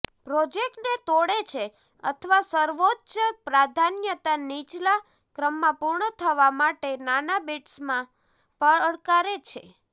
પ્રોજેક્ટને તોડે છે અથવા સર્વોચ્ચ પ્રાધાન્યતા નીચલા ક્રમમાં પૂર્ણ થવા માટે નાના બિટ્સમાં પડકારે છે